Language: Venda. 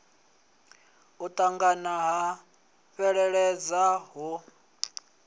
u ṱangana ha fheleledza ho